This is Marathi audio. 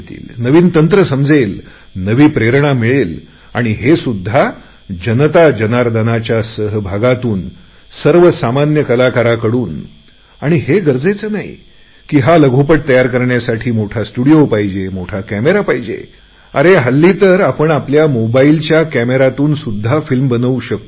नवीन तंत्र समजेल नवी प्रेरणा मिळेल आणि हे सुद्धा जनता जनार्दनाच्या सहभागातून सर्वसामान्य कलाकारांकडून आणि हे गरजेचे नाही की मोठा स्टुडीओ पाहिजे मोठा कॅमेरा पाहिजे अरे आजकाल तर आपण आपल्या मोबाईलच्या कॅमेऱ्याने फिल्म बनवू शकतो